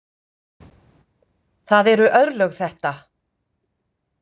Það eru örlög þetta!